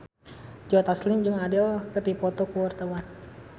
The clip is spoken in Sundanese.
Joe Taslim jeung Adele keur dipoto ku wartawan